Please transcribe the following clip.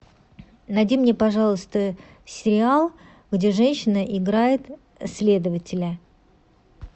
найди мне пожалуйста сериал где женщина играет следователя